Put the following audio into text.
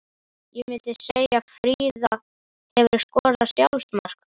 Ég myndi segja Fríða Hefurðu skorað sjálfsmark?